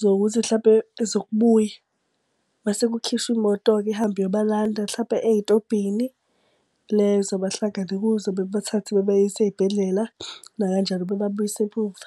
zokuthi mhlampe zokubuya. Mase kukhishwe imoto-ke ihambe iyobalanda mhlampe ey'tobhini lezo abahlangane kuzo, bebathathe bebayise ey'bhedlela nakanjalo bebabuyise emuva.